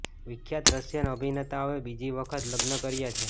વિખ્યાત રશિયન અભિનેતા હવે બીજી વખત લગ્ન કર્યા છે